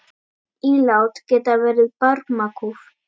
Ílát geta verið barmakúf.